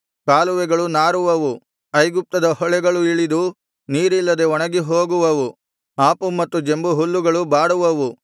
ಕಾಲುವೆಗಳು ನಾರುವವು ಐಗುಪ್ತದ ಹೊಳೆಗಳು ಇಳಿದು ನೀರಿಲ್ಲದೆ ಒಣಗಿ ಹೋಗುವವು ಆಪು ಮತ್ತು ಜಂಬುಹುಲ್ಲುಗಳು ಬಾಡುವವು